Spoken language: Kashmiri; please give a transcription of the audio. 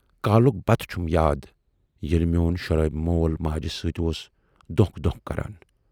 کالُک بتہٕ چھُم یاد ییلہِ میون شرٲبۍ مول ماجہِ سۭتۍ اوس دونکھ دونکھ کَران۔